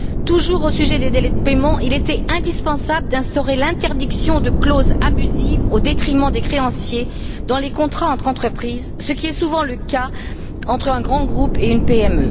Toujours au sujet des délais de paiement, il était indispensable d'instaurer l'interdiction de clauses abusives au détriment des créanciers dans les contrats entre entreprises, ce qui est souvent le cas entre un grand groupe et une PME.